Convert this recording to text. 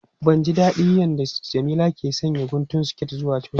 Ban ji dadin yadda Jamila ke sanya guntun siket zuwa coci.